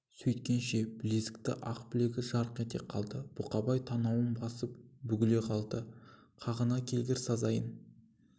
сөйткенше білезікті ақ білегі жарқ ете қалды бұқабай танауын басып бүгіле қалды қағынды келгір сазайың